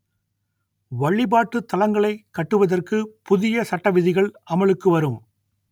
வழிபாட்டுத் தலங்களை கட்டுவதற்கு புதிய சட்ட விதிகள் அமலுக்கு வரும்